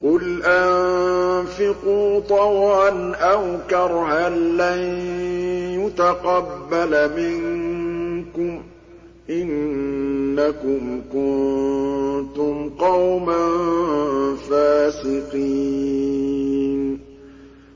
قُلْ أَنفِقُوا طَوْعًا أَوْ كَرْهًا لَّن يُتَقَبَّلَ مِنكُمْ ۖ إِنَّكُمْ كُنتُمْ قَوْمًا فَاسِقِينَ